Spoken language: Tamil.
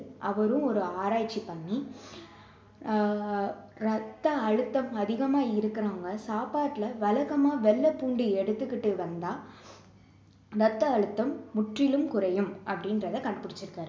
அவரும் ஒரு ஆராய்ச்சி பண்ணி ஆஹ் ரத்த அழுத்தம் அதிகமா இருக்குறவங்க சாப்பாட்டுல வழக்கமா வெள்ளை பூண்டு எடுத்துக்கிட்டு வந்தா ரத்த அழுத்தம் முற்றிலும் குறையும் அப்படின்றத கண்டுபிடிச்சிருக்காரு